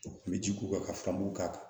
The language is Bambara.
U kun bɛ ji k'u kan ka k'a kan